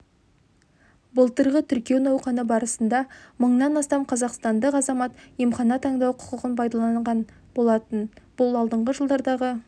былтырғы тіркеу науқаны барысында мыңнан астам қазақстандық азамат емхана таңдау құқығын пайдаланған болатын бұл алдыңғы жылдардағы